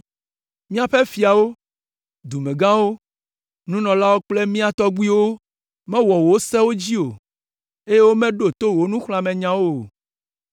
Míaƒe fiawo, dumegãwo, nunɔlawo kple mía tɔgbuiwo mewɔ wò sewo dzi o, eye womeɖo to wò nuxlɔ̃amenyawo o.